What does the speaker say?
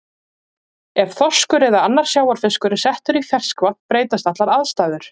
Ef þorskur eða annar sjávarfiskur er settur í ferskvatn breytast allar aðstæður.